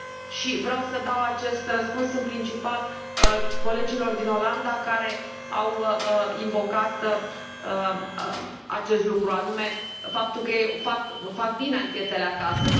Aș dori să dau acest răspuns în principal colegilor din Olanda care au invocat acest lucru, și anume faptul că ei fac bine anchetele acasă.